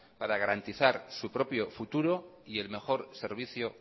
para garantizar su propio futuro y el mejor servicio